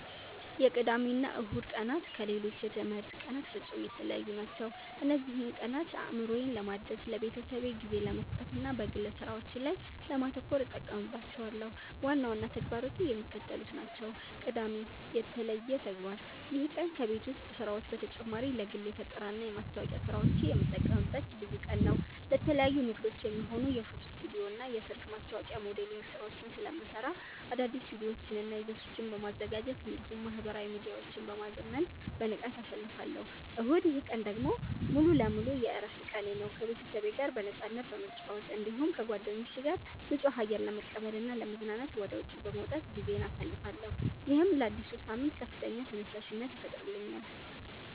የቅዳሜና እሁድ ቀናት ከሌሎች የትምህርት ቀናት ፍጹም የተለዩ ናቸው። እነዚህን ቀናት አእምሮዬን ለማደስ፣ ለቤተሰቤ ጊዜ ለመስጠትና በግል ሥራዎቼ ላይ ለማተኮር እጠቀምባቸዋለሁ። ዋና ዋና ተግባራቱ የሚከተሉት ናቸው፦ ቅዳሜ (የተለየ ተግባር)፦ ይህ ቀን ከቤት ውስጥ ሥራዎች በተጨማሪ ለግል የፈጠራና የማስታወቂያ ሥራዎቼ የምጠቀምበት ልዩ ቀን ነው። ለተለያዩ ንግዶች የሚሆኑ የፎቶ ስቱዲዮና የሰርግ ማስታወቂያ ሞዴሊንግ ሥራዎችን ስለምሠራ፣ አዳዲስ ቪዲዮዎችንና ይዘቶችን በማዘጋጀት እንዲሁም ማኅበራዊ ሚዲያዎቼን በማዘመን በንቃት አሳልፋለሁ። እሁድ፦ ይህ ቀን ደግሞ ሙሉ በሙሉ የዕረፍት ቀኔ ነው። ከቤተሰቤ ጋር በነፃነት በመጨዋወት፣ እንዲሁም ከጓደኞቼ ጋር ንጹህ አየር ለመቀበልና ለመዝናናት ወደ ውጪ በመውጣት ጊዜዬን አሳልፋለሁ። ይህም ለአዲሱ ሳምንት ከፍተኛ ተነሳሽነት ይፈጥርልኛል።